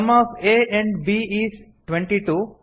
some of a and b is twenty two